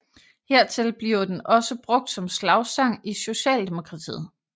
Hertil bliver den også brugt som slagsang i Socialdemokratiet